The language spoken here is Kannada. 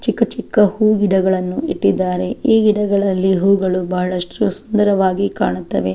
ಚಿಕ್ಕ ಚಿಕ್ಕ ಹೂಗಿಡಗಲ್ಲನ್ನು ಇಟ್ಟಿದ್ದಾರೆ ಈ ಗಿಡಗಲ್ಲಲ್ಲಿ ಹೂವುಗಳು ಬಹಳಷ್ಟು ಸುಂದರವಾಗಿ ಕಾಣುತ್ತವೆ.